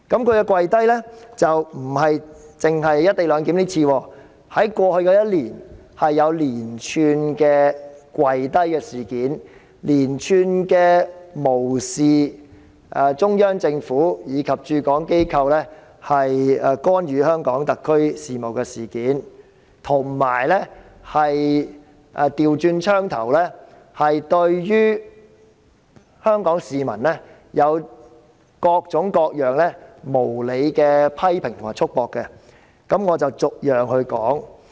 而她不僅只就"一地兩檢""跪低"一次，在過去1年，有連串的"跪低"事件，連串無視中央政府及駐港機構干預香港特區事務的事件，以及反過來對於香港市民有各種各樣無理的批評和束縛，我以下將逐一細說。